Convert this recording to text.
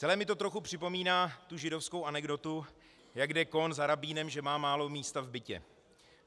Celé mi to trochu připomíná tu židovskou anekdotu, jak jde Kohn za rabínem, že má málo místa v bytě.